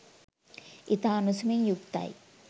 ඉතා උණුසුමින් යුක්තයි.